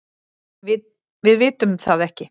Við vitum það ekki.